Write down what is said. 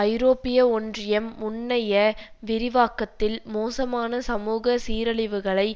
ஐரோப்பிய ஒன்றியம் முன்னைய விரிவாக்கத்தில் மோசமான சமூக சீரழிவுகளை